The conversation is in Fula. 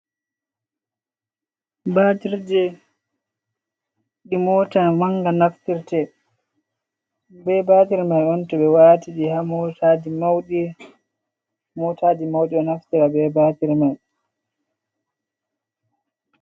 Batirje di mota manga, naftirta be batir mai on to be watidi ha motaji maudi do naftira be batir mai.